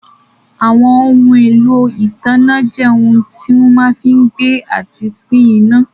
Àwọn ohun èlò ìtanná jẹ́ ohun tí wọ́n fí ń gbé àti pín iná.